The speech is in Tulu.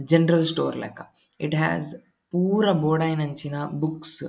ಜನರಲ್ ಸ್ಟೋರ್ ಲೆಕ. ಇಟ್ ಹಾಸ್ ಪೂರ ಬೊಡಾಯಿನಂಚಿನ ಬುಕ್ಸ್ .